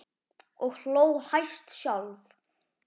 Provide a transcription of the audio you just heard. Og hló hæst sjálf.